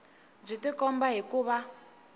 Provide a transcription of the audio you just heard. byi tikomba hi ku va